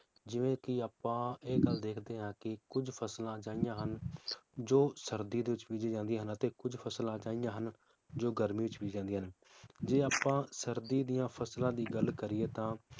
ਜਿਵੇ ਕਿ ਆਪਾਂ ਇਹ ਗੱਲ ਦੇਖਦੇ ਹਾਂ ਕਿ ਕੁਝ ਫਸਲਾਂ ਇਹੋ ਜਿਹੀਆਂ ਹਨ ਜੋ ਸਰਦੀ ਦੇ ਵਿਚ ਬੀਜੀਆਂ ਜਾਂਦੀਆਂ ਹਨ ਤੇ ਕੁਝ ਫਸਲਾਂ ਹੈ ਜਿਹੀਆਂ ਹਨ ਜੋ ਗਰਮੀ ਚ ਬੀਜੀਆਂ ਜਾਂਦੀਆਂ ਹਨ ਜੇ ਆਪਾਂ ਸਰਦੀ ਦੀਆਂ ਫਸਲਾਂ ਦੀ ਗੱਲ ਕਰੀਏ ਤਾਂ